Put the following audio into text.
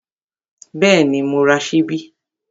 Bẹ́ẹ̀ni, mo ra ṣíbí